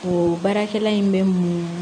O baarakɛla in bɛ munu